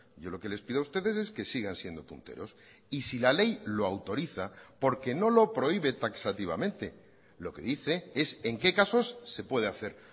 yo lo que les pido a ustedes es que sigan siendo punteros y si la ley lo autoriza porque no lo prohíbe taxativamente lo que dice es en qué casos se puede hacer